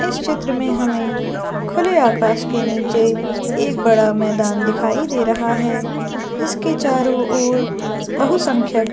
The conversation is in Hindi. इस चित्र में हमें खुले आकाश के नीचे एक बड़ा मैदान दिखाई दे रहा है जिसके चारों ओर बहुसंख्यक--